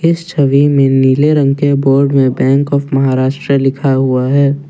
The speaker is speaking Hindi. इस छवी में नीले रंग के बोर्ड में बैंक ऑफ महाराष्ट्रा लिखा हुआ है।